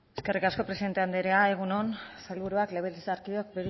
eskerrik asko presidente anderea egun on sailburuak legebiltzarkideok